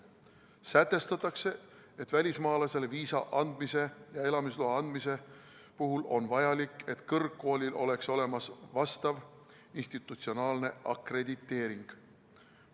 Sätestatakse, et välismaalasele viisa ja elamisloa andmise puhul on vajalik, et kõrgkoolil oleks olemas vastav institutsionaalne akrediteering.